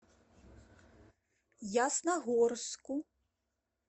ясногорску